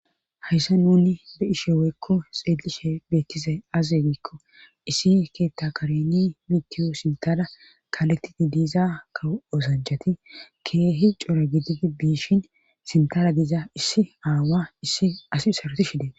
Hayssa nuni be ishe weyekko xeelishe beettizay aze diikko issi keetta kareni mitiyo sintada kaaletidi diiza kaw oosanchati keehi cora gididi biishin sintada diza issi aawa issi asi saroti shidee.